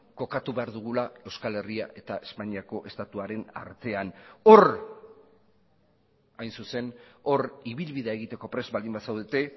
kokatu behar dugula euskal herria eta espainiako estatuaren artean hor hain zuzen hor ibilbidea egiteko prest baldin bazaudete